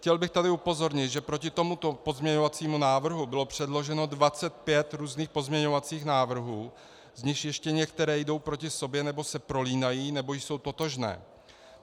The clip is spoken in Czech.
Chtěl bych tady upozornit, že proti tomuto pozměňovacímu návrhu bylo předloženo 25 různých pozměňovacích návrhů, z nichž ještě některé jdou proti sobě nebo se prolínají nebo jsou totožné.